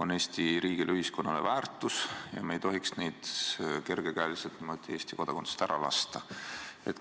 on Eesti riigile ja ühiskonnale väärtus ja me ei tohiks neid kergekäeliselt niimoodi Eesti kodakondsusest ära lasta.